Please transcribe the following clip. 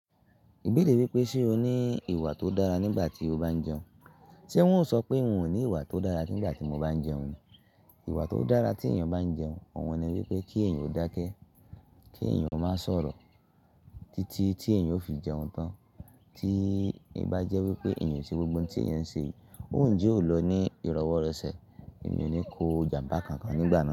Ìbẹ̀rẹ̀ wípé ṣe o ní ìwà tó dára nígbà tí o bá ń jẹun. Ṣé wọn o so pé n ò ní ìwà tó dára ní ìgbà tí mo bá ń jẹun. Ìwà tó dára tí èèyàn bá ń jẹun, òhun ni wípé kí èèyàn ó dákẹ́, kí èèyàn ó má sọ̀rọ̀ títí tí èèyàn ó fi jẹun tán. Tí bá jẹ́ wípé èèyàn ṣe gbogbo ohun tí èèyàn ń ṣe, òun jẹ́ ó lọ ní ìrọwọ́rọsẹ̀. Èmi ò ní kó ìjàmbá kankan nígbà náà.